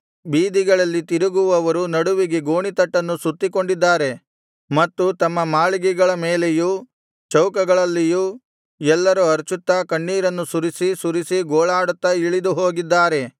ಬೀದಿಗಳಲ್ಲಿ ತಿರುಗುವವರು ನಡುವಿಗೆ ಗೋಣಿತಟ್ಟನ್ನು ಸುತ್ತಿಕೊಂಡಿದ್ದಾರೆ ಮತ್ತು ತಮ್ಮ ಮಾಳಿಗೆಗಳ ಮೇಲೆಯೂ ಚೌಕಗಳಲ್ಲಿಯೂ ಎಲ್ಲರು ಅರಚುತ್ತಾ ಕಣ್ಣೀರನ್ನು ಸುರಿಸಿ ಸುರಿಸಿ ಗೋಳಾಡುತ್ತಾ ಇಳಿದು ಹೋಗಿದ್ದಾರೆ